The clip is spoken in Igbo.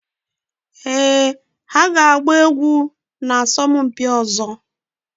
Éè ha ga-agba egwu na asọmpi ọzọ